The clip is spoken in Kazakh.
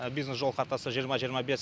бизнес жол картасы жиырма жиырма бес